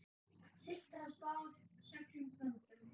Siglt af stað seglum þöndum.